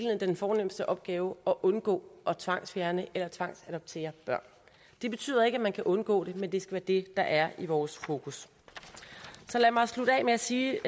den fornemste opgave at undgå at tvangsfjerne eller tvangsadoptere børn det betyder ikke at man kan undgå det men det skal være det der er i vores fokus så lad mig slutte af med at sige